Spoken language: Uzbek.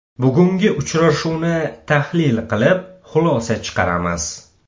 Bugungi uchrashuvni tahlil qilib, xulosa chiqaramiz.